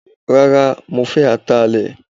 Rárá, mo fẹ́ Atalẹ.